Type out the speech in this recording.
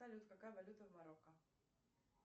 салют какая валюта в марокко